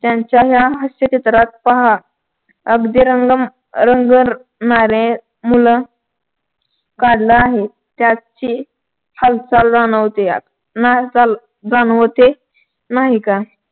त्यांच्या या हास्य चित्रात पहा अगदी रंग रंगणारे मुल काढला आहे त्याचे हालचाल जाणवते यात न हालचाल जाणवते नाही का.